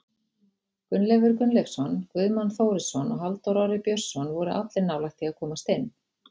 Gunnleifur Gunnleifsson, Guðmann Þórisson og Halldór Orri Björnsson voru allir nálægt því að komast inn.